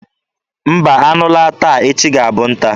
Mba, anụ laa taa, echi ga-abụ nta.